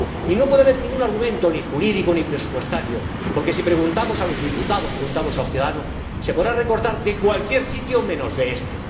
Y no puede haber ningún argumento, ni jurídico, ni presupuestario, porque si preguntamos a los diputados, preguntamos a los ciudadanos, se podrá recortar de cualquier sitio menos de este.